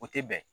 O tɛ bɛn